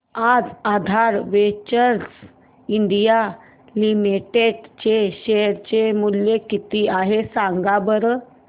आज Aadhar ventures India limited चे share चे मूल्य किती आहे सांगा बरं